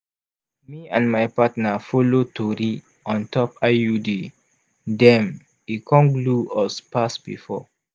me and my partner follow tori on top iud dem e con glue us pass before.